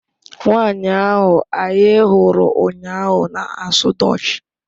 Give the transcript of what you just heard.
Nwanyị ahụ anyị hụrụ ụnyaahụ na-asụ Dutch